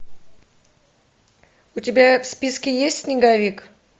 у тебя в списке есть снеговик